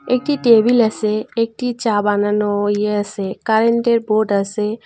একটি টেবিল আসে একটি চা বানানো ইয়ে আসে কারেন্টের বোর্ড আসে।